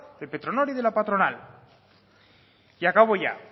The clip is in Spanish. de petronor y de la patronal y acabo ya